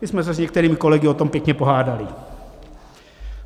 - My jsme se s některými kolegy o tom pěkně pohádali.